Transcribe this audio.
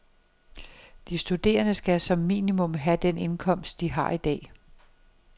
De studerende skal som minimum have den indkomst, de har i dag.